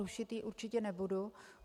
Rušit ji určitě nebudu.